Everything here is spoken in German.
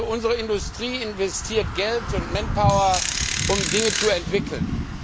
Unsere Industrie investiert Geld und Manpower, um Dinge zu entwickeln.